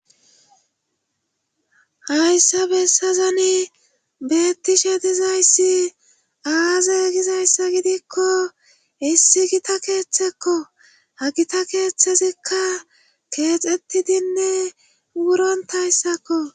Hayssa bessazoni beettishe dizayssi aaze gizayssa gidikko issi gita keeththekko hagita keeththezikka keexetidinne wurontayssakko